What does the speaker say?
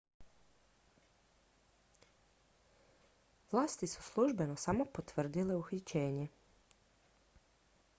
vlasti su službeno samo potvrdile uhićenje